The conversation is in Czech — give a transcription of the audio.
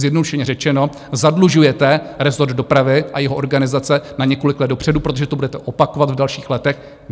Zjednodušeně řečeno, zadlužujete rezort dopravy a jeho organizace na několik let dopředu, protože to budete opakovat v dalších letech.